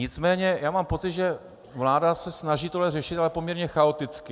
Nicméně já mám pocit, že vláda se snaží tohle řešit, ale poměrně chaoticky.